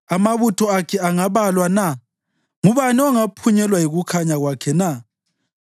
Amabutho akhe angabalwa na? Ngubani ongaphunyelwa yikukhanya kwakhe na?